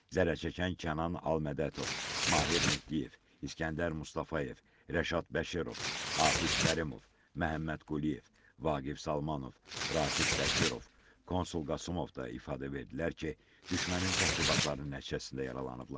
Zərər çəkən Kənan Almədətov, Mahir Mehdiyev, İsgəndər Mustafayev, Rəşad Bəşirov, Rafiq Kərimov, Məhəmməd Quliyev, Vaqif Salmanov, Rafiq Bəkirov, Konsul Qasımov da ifadə verdilər ki, düşmənin təxribatları nəticəsində yaralanıblar.